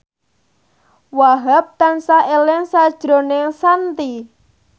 Wahhab tansah eling sakjroning Shanti